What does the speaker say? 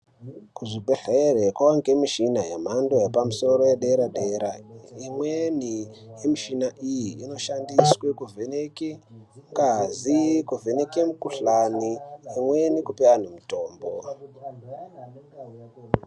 Kuzvibhedhlere kwava ngemishina yamhando yepamusoro yedera-dera, imweni yemishina iyi inoshandiswe kuvheneke ngazi, kuvheneke mikuhlani, imweni kupe antu mitombo.